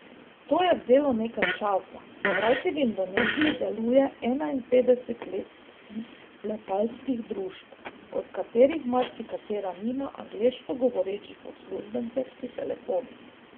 To je vzelo nekaj časa, kajti v Indoneziji deluje enainpetdeset letalskih družb, od katerih marsikatera nima angleško govorečih uslužbencev pri telefonih.